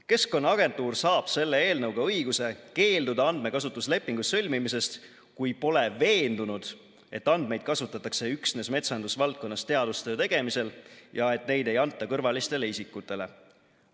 Keskkonnaagentuur saab selle eelnõuga õiguse keelduda andmekasutuslepingu sõlmimisest, kui pole veendunud, et andmeid kasutatakse üksnes metsandusvaldkonnas teadustöö tegemisel ja et neid ei anta kõrvalistele isikutele.